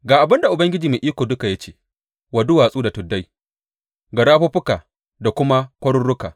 Ga abin da Ubangiji Mai Iko Duka ya ce wa duwatsu da tuddai, ga rafuffuka da kuma kwaruruka.